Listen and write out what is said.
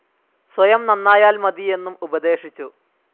സ്വയം നന്നായാൽ മതിയെന്നും ഉപദേശിച്ചു.